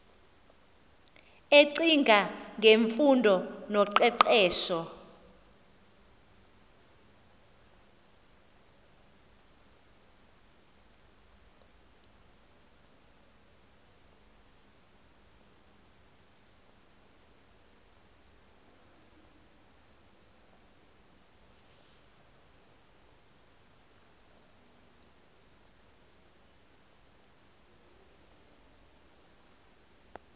ecinga ngemfundo noqeqesho